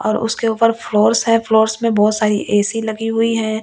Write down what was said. और उसके ऊपर फ्लोर्स है फ्लोर्स में बहुत सारी ए_सी लगी हुई है।